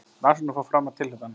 Rannsóknin fór fram að tilhlutan